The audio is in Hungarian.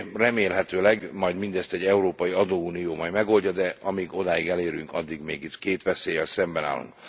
Remélhetőleg majd mindezt egy európai adóunió megoldja, de amíg odáig elérünk, addig itt két veszéllyel szemben állunk.